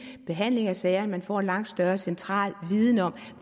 behandling af sagerne man får en langt større central viden om